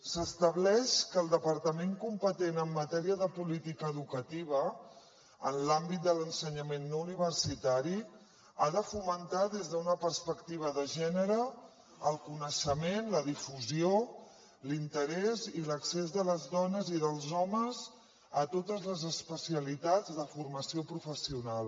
s’estableix que el departament competent en matèria de política educativa en l’àmbit de l’ensenyament no universitari ha de fomentar des d’una perspectiva de gènere el coneixement la difusió l’interès i l’accés de les dones i dels homes a totes les especialitats de formació professional